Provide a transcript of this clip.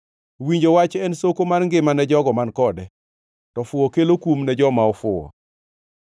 Winjo wach en soko mar ngima ne jogo man kode, to fuwo kelo kum ne joma ofuwo.